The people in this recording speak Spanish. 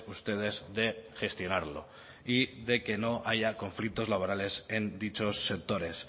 ustedes de gestionarlo y de que no haya conflictos laborales en dichos sectores